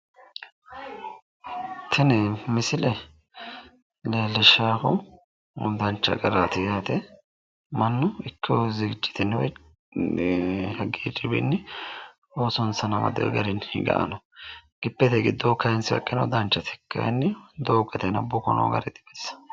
Tini misile leellishshannohu dancha garaati yaate. Mannu ikkiwo zigijitenni woyi hagiirriwiinni oosonsano amadiwo garinni higayi no. Gibbete giddoo kayinsoyiha ikkiro danchate. Kayinni doogote aana buko noo gari dibaxissawo.